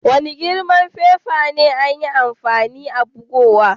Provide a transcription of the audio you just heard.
Wani girman fefa ne an yi amfani a'bugowan?